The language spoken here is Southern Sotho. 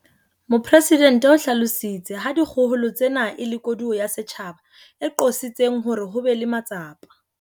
Mopresidente o hlalositse ha dikgohola tsena e le koduwa ya setjhaba e qositseng hore ho be le matsapa